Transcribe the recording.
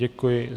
Děkuji.